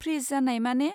Fridge जानाय माने?